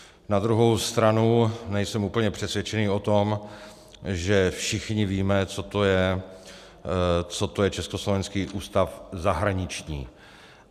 Na druhou stranu nejsem úplně přesvědčený o tom, že všichni víme, co to je Československý ústav zahraniční.